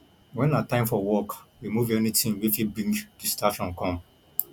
when na time for work remove anything wey fit bring distraction come